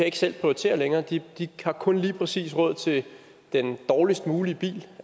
ikke selv kan prioritere længere de har kun lige præcis råd til den dårligst mulige bil